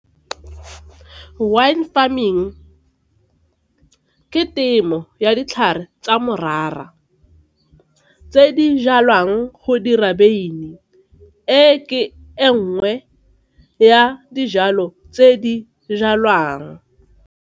Wine farming ke temo ya ditlhare tsa morara tse di jalwang go dira beine, e ke e nngwe ya dijalo tse di jalwang.